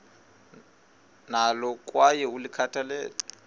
nalo kwaye ulikhathalele